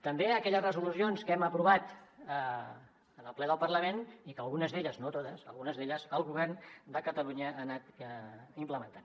també a aquelles resolucions que hem aprovat en el ple del parlament i que algunes d’elles no totes algunes d’elles el govern de catalunya ha anat implementant